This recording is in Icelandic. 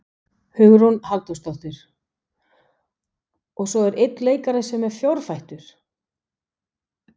Hugrún Halldórsdóttir: Og svo er einn leikari sem er fjórfættur?